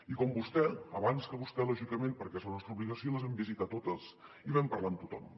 i com vostè abans que vostè lògicament perquè és la nostra obligació les vam visitar totes i vam parlar amb tothom